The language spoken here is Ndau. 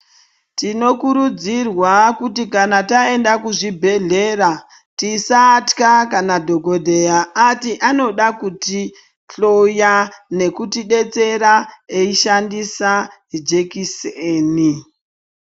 Tinokurudzirawa kuti kana taenda kuzvibhedhlera tisatwa kana dhogodheya ati anoda kutihloya nekutibetsera eishandisa zvijekiseni.